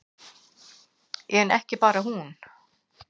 En ekki bara hún.